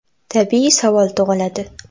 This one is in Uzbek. Tabiiy savol tug‘iladi.